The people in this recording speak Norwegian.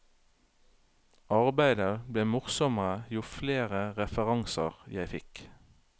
Arbeidet ble morsommere jo flere referanser jeg fikk.